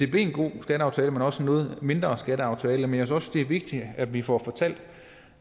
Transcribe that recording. blev en god skatteaftale men også en noget mindre skatteaftale men jeg synes også det er vigtigt at vi får fortalt